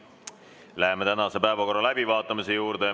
Läheme tänase päevakorra juurde.